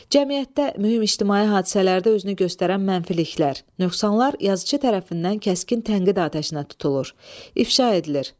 Cəmiyyətdə mühüm ictimai hadisələrdə özünü göstərən mənfiliklər, nöqsanlar yazıçı tərəfindən kəskin tənqid atəşinə tutulur, ifşa edilir.